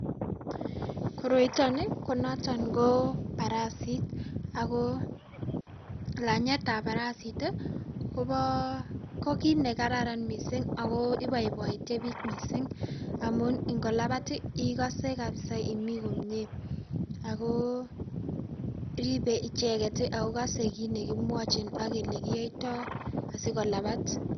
Koroitoni ko noton ko parasit aku lanyetab parasit kobo, ko kiit ne kararan mising ako iboiboite bich mising amun ingolabat ikose kabisa imi komye aku ribe icheket ako kosei kiit ne kimwochin ak ole kioitio asikolabat.